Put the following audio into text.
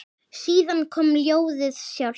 Síðan kom ljóðið sjálft